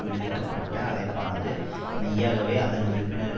விடுக்க பட்ட அழைப்பானது மெய்யாகவே அதன் உறுப்பினர்கள்